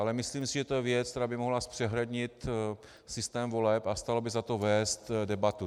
Ale myslím si, že je to věc, která by mohla zpřehlednit systém voleb, a stálo by za to vést debatu.